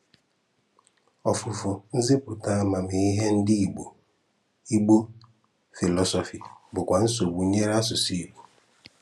Ọfùfù nzìpụ̀tà àmàmíhè ndị Ìgbò (Igbo philosophy) bụ̀kwa nsogbu nyere asụ̀sụ́ Ìgbò.